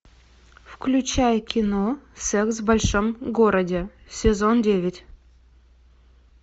включай кино секс в большом городе сезон девять